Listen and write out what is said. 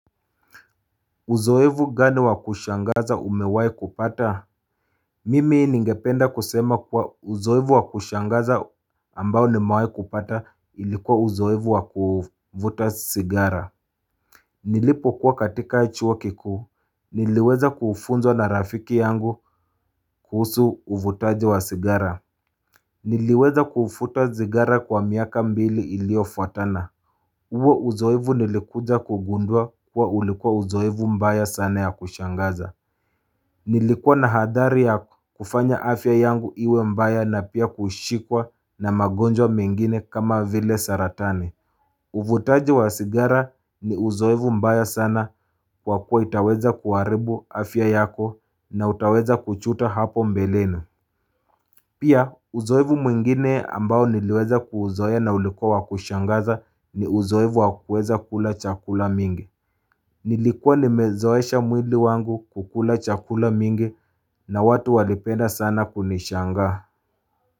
Uzoefu gani wa kushangaza umewai kupata? Mimi ningependa kusema kuwa uzoefu wa kushangaza ambao nimewai kupata ilikuwa uzoefu wa kuvuta sigara Nilipo kuwa katika chuo kikuu niliweza kufunzwa na rafiki yangu kuhusu uvutaji wa sigara Niliweza kuvuta sigara kwa miaka mbili iliyo fuatana huo uzoefu nilikuja kugundua kuwa ulikuwa uzoefu mbaya sana ya kushangaza Nilikuwa na hadhari ya kufanya afya yangu iwe mbaya na pia kushikwa na magonjwa mengine kama vile saratani. Uvutaji wa sigara ni uzoefu mbaya sana kwa kuwa itaweza kuharibu afya yako na utaweza kujuta hapo mbeleni. Pia uzoefu mwingine ambao niliweza kuuzoea na ulikuwa wa kushangaza ni uzoefu wa kuweza kula chakula mingi. Nilikuwa nimezoesha mwili wangu kula chakula mingi na watu walipenda sana kunishangaa.